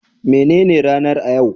Me nene ranar a yau?